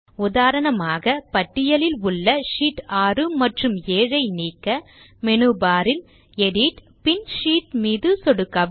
உதாரணமாக பட்டியலில் உள்ள ஷீட் 6 மற்றும் 7 ஐ நீக்க மேனு பார் இல் எடிட் பின் ஷீட் மீது சொடுக்கவும்